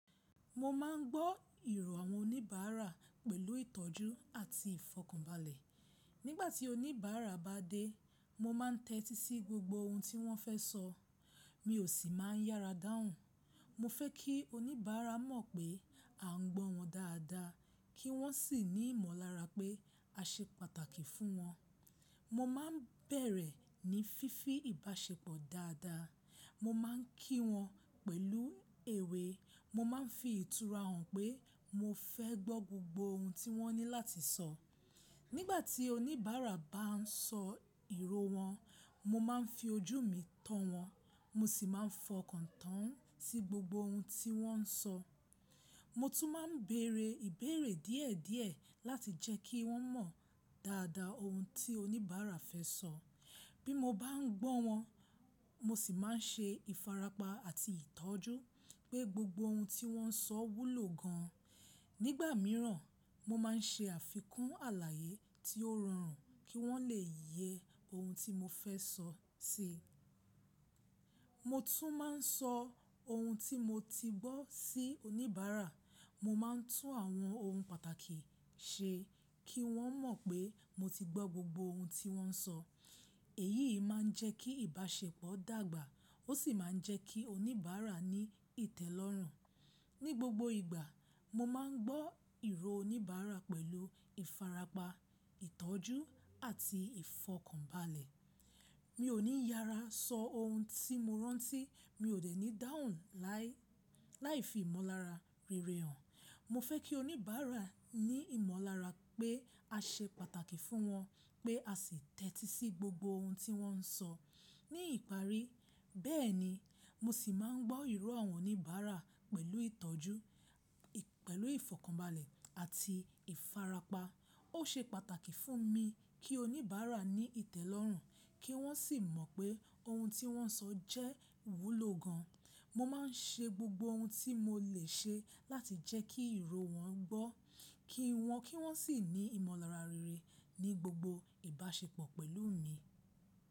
Mo máa ń gbọ́ ìró àwọn oníbàárà pẹ̀lú ìtọ́jú àti ìfọ̀kànbalẹ̀. Nígbà tí oníbàárà bá dé, mo máa ń tẹ́tí sí gbogbo ohun tí wọ́n fẹ́ sọ, mi ò sì máa ń yára dáhùn. Mo fẹ́ kí oníbàárà mọ̀ pé a ń gbọ́ wọn dáadáa, kí wọ́n sì ní ìmọ̀lára pé a ṣe pàtàkì fún wọn. Mo máa ń bẹ̀rẹ̀ ní fífi ìbáṣepọ̀ dáadáa. Mo máa ń kí wọn pẹ̀lú èwe, mo máa ń fi ìtura hàn pé mo fẹ́ gbọ́ gbogbo ohun tí wọ́n ní láti sọ. Nígbà tí oníbàárà bá ń sọ ìró wọn, mo máa ń fi ojú mi tọ́ wọn, mo sì máa ń fọkàn tán sí gbogbo ohun tí wọ́n ń sọ. Mo tún máa ń béèrè ìbéèrè díẹ̀díẹ̀ láti jẹ́ kí wọ́n mọ̀ dáadáa ohun tí oníbàárà fẹ́ sọ. Bí mo bá ń gbọ́ wọn, mo sì máa ń ṣe ìfàrapa àti ìtọ́jú pé gbogbo ohun tí wọ́n ń sọ wúlò gan an. Nígbà mìíràn, mo máa ń ṣe àfikún àlàyé tí ó rọrùn kí wọ́n lè yẹ ohun tí mo fẹ́ sọ sí i. Mo tún máa ń sọ ohun tí mo ti gbọ́ sí oníbàárà. Mo máa ń tún àwọn ohun pàtàkì ṣe kí wọ́n mọ̀ pé mo ti gbọ́ gbogbo ohun tí wọ́n ń sọ. Èyí máa ń jẹ́ kí ìbáṣepọ̀ dàgbà, ó sì máa ń jẹ́ kí oníbàárà ní ìtẹ́lọ́rùn. Ní gbogbo ìgbà, mo máa ń gbọ́ ìró oníbàárà pẹ̀lú ìfarapa, ìtọ́jú àti ìfọ̀kànbalẹ̀. Mi ò ní yára sọ ohun tí mo rántí, mi ò dẹ̀ ní dáhùn láì, láì fi ìmọ̀lára rere hàn. Mo fẹ́ kí oníbàárà ní ìmọ̀lára pé a ṣe pàtàkì fún wọn, pé a sì tẹ́tí sí gbogbo ohun tí wọ́n ń sọ. Ní ìparí, bẹ́ẹ̀ni, mo sì máa ń gbọ́ ìró àwọn oníbàárà pẹ̀lú ìtọ́jú, pẹ̀lú ìfọ̀kànbalẹ̀ àti ìfarapa. Ó ṣe pàtàkì fún mi kí oníbàárà ní ìtẹ́lọ́rùn, kí wọ́n sì mọ̀ pé ohun tí wọ́n ń sọ jẹ́ wúlò gan an. Mo máa ń ṣe gbogbo ohun tí mo lè ṣe láti jẹ́ kí ìró wọn gbọ́ kí wọn, kí wọ́n sì ní ìmọ̀lára rere ní gbogbo ìbáṣepọ̀ pẹ̀lú mi.